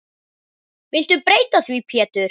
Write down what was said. Viltu breyta því Pétur.